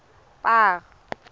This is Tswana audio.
paarl